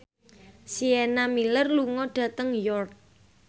Sienna Miller lunga dhateng York